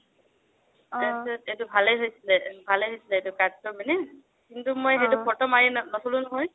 তাৰপিছত এইটো ভালে হৈছিলে, ভালে হৈছিলে cut টো মানে কিন্তু মই photo মাৰি নথলো নহয়